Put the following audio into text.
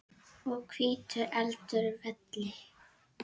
og hvítur heldur velli.